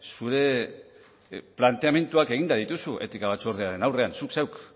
zure planteamenduak eginda dituzu etika batzordearen aurrean zuk zeuk